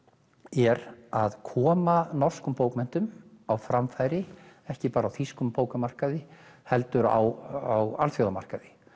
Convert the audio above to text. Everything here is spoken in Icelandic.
er að koma norskum bókmenntum á framfæri ekki bara á þýskum bókamarkaði heldur á alþjóðamarkaði